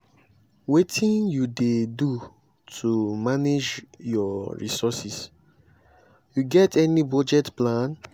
wetin you dey do to manage your resources you get any budget plan?